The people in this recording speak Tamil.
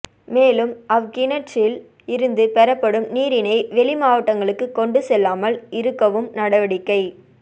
மேலும் அவ் கிணற்றில் இருந்து பெறப்படும் நீரினை வெளிமாவட்டங்களுக்கு கொண்டு செல்லாமல் இருக்கவும் நடவடிக்கை